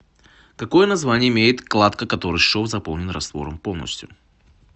какое название имеет кладка в которой шов заполнен раствором полностью